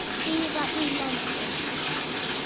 víða í löndum